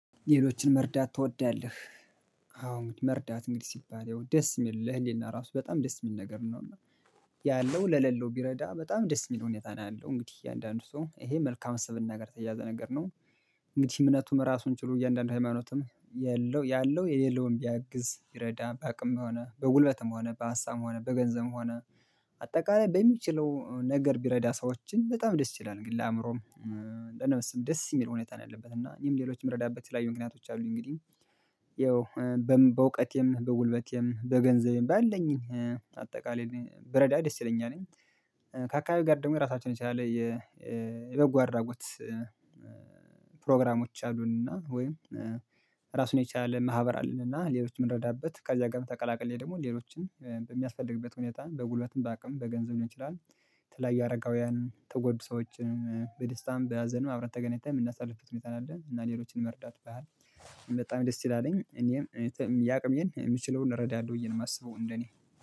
ሌሎችን መርዳት ትወዳለህ? አዎ መርዳት እንግዲህ ሲባል ያው ደስ የሚል ለህሊና ራሱ በጣም ደስ የሚል ነገር ነው እና ያለው ለለለው ቢረዳ በጣም ደስ የሚል ሁኔታ ነው ያለው እንግዲህ እያንዳንዱ ሰው ይሄ መልካም ስብእና ጋር የተያያዘ ነገር ነው። እንግዲህ እምነቱም ራሱን ችሉ እያንዳንዱ ሃይማኖትም የለው ያለው የሌለውን ቢያግዝ ቢይረዳ በአቅም ሆነ በጉልበትም ሆነ በሀሳብም ሆነ በገንዘብም ሆነ። አጠቃላይ በሚችለው ነገር ቢረዳ ሰዎችን በጣም ደስ ይላል ግን ለአእምሮም ለነብስም ደስ የሚል ሁኔታ ነው ያለበት እና ይሄም ሌሎች የምረዳበት የተለያዩ ምክንያቶች አሉኝ። እንግዲህ ያው በእውቀቴም በጉልበቴም በገንዘቤም ባለኝ አጠቃላይ ብረዳ ደስ ይለኛልኝ። ከአካባቢ ጋር ደግሞ ራሳችንን የቻለ የበጎ አድራጎት ፕሮግራሞች አሉንና ወይም ራሱን የቻለ ማህበር አለንና ሌሎች የምንረዳበት ከዚያ ጋር ተቀላቅሌ ደግሞ ሌሎችን በሚያስፈልግበት ሁኔታ በጉልበትም በአቅም በገንዘብ ሊሆን ንችላል። የተላይ አረጋዉያንን የተጎዱ ሰዎችን በደስታም በሀዘንም አብረን ተገናኝተን የምናሳልፍበት ሁኔታ አለ። እና ሌሎችን መርዳት ባህል በጣም ደስ ይላልኝ እኔም ያቅሜን የምችለውን እረዳለሁ ብዬ ነው የማስበው እንደኔ